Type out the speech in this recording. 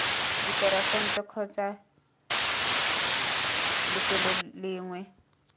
diporofense kgotsa c lefelo lengwe